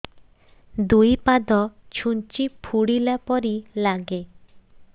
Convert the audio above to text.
ଦୁଇ ପାଦ ଛୁଞ୍ଚି ଫୁଡିଲା ପରି ଲାଗେ